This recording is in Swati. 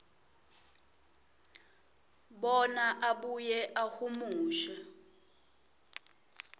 bona abuye ahumushe